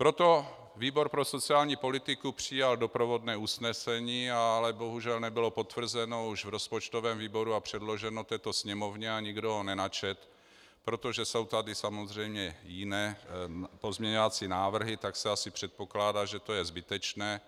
Proto výbor pro sociální politiku přijal doprovodné usnesení, ale bohužel nebylo potvrzeno už v rozpočtovém výboru a předloženo této Sněmovně a nikdo ho nenačetl, protože jsou tady samozřejmě jiné pozměňovací návrhy, tak se asi předpokládá, že to je zbytečné,